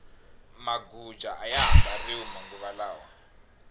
maguja aya ha mbariwi manguva lawa